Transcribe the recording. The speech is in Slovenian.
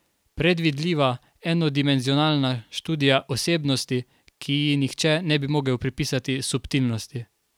Predvidljiva, enodimenzionalna študija osebnosti, ki ji nihče ne bi mogel pripisati subtilnosti.